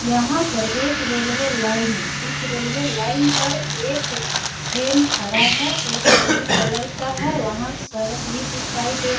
यहाँ पर एक रेलवे लाइन है। उस रेलवे लाइन पर एक ट्रैन खड़ा है। वो ब्लू कलर का है। वहाँ सड़क भी दिखाई दे रहा --